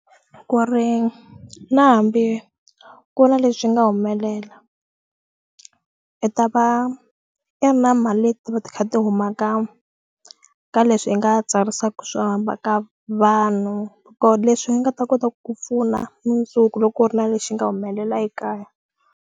Ku ri na hambi ku na leswi nga humelela i ta va i ri na mali leti va ti kha ti huma ka ka leswi i nga tsarisaku swo ka vanhu ko leswi i nga ta kota ku ku pfuna mundzuku loko ku ri na lexi nga humelela ekaya.